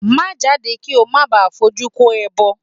Má jáde kí ó má baà fojú kó ẹbọ!